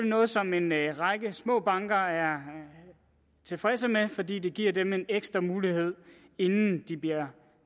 noget som en række små banker er tilfredse med fordi det giver dem en ekstra mulighed inden de bliver